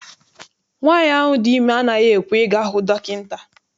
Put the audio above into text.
Nwaanyi ahụ dị ime anaghị ekwe I ga hụ dọkịta.